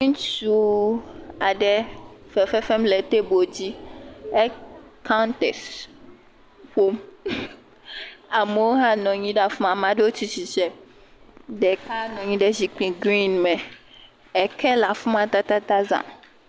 Ŋutsuu aɖe fefe fem le tebolu dzi. E kaŋtɛsi ƒom. Amewo hã nɔ anyi ɖe afi ma. Ame ɖewo tsi tsitre. Ɖeka nɔ anyi ɖe zikpi grini me. Eke le afi ma tatata zãa.